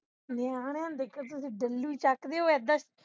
ਨਿਆਣਿਆਂ ਨੂੰ ਦੇਖੋ ਤੁਸੀਂ delhi ਚਕ ਦੇਉ ਏਧਰ